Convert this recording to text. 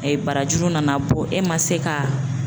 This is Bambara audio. barajuru nana bɔ e ma se ka